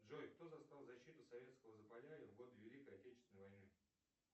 джой кто застал защиту советского запалярья в годы великой отечественной войны